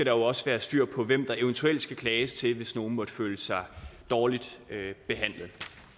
jo også være styr på hvem der eventuelt skal klages til hvis nogle måtte føle sig dårligt behandlet